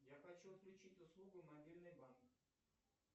я хочу отключить услугу мобильный банк